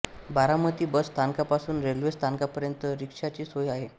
Baramati bus स्थानकापासून railway स्थानकापर्यंत रिक्षाची सोय आहे